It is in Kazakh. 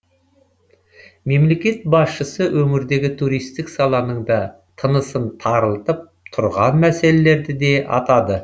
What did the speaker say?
мемлекет басшысы өңірдегі туристік саланың да тынысын тарылтып тұрған мәселелерді де атады